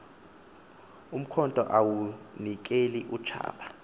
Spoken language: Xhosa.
umkhonto yawunikel utshaba